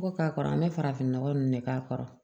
Ko k'a kɔrɔ an bɛ farafin nɔgɔ ninnu de k'a kɔrɔ